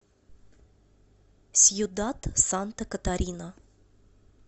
сьюдад санта катарина